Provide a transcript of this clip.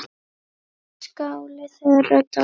Skáli þeirra Dalbúa.